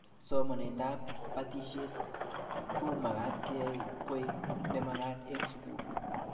Somanet ab batishet ko magat keyai koek ne magat eng sukul